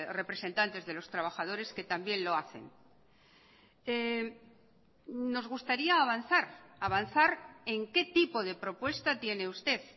representantes de los trabajadores que también lo hacen nos gustaría avanzar avanzar en qué tipo de propuesta tiene usted